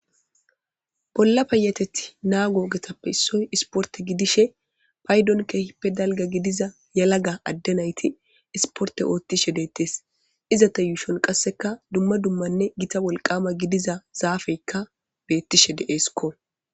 Bolla payateti naa go getappe issoy isporte gidishe paydon keehippe dalga gidiza yalaga adde nayti isporte oottishe deettes iza ta yuushon qasseka dumma dummanne gita wolqama gidiza zaafeykka beettishe de'eesikko.